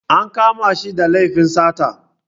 An kama shi da laifin sata.